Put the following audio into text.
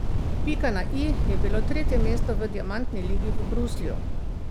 Pika na i je bilo tretje mesto v diamantni ligi v Bruslju.